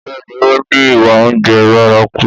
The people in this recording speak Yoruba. Bẹ́ẹ̀ni ó ní ìwà oúnjẹ bárakú